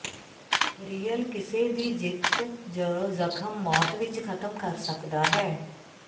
real ਕਿਸੇ ਦੀ ਜਿੱਤ ਜ ਜ਼ਖ਼ਮ ਮੌਤ ਵਿੱਚ ਖਤਮ ਕਰ ਸਕਦਾ ਹੈ